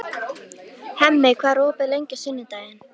Hemmi, hvað er opið lengi á sunnudaginn?